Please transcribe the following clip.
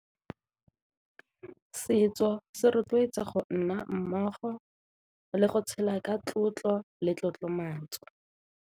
Setso se rotloetsa go nna mmogo le go tshela ka tlotlo le tlotlomatso.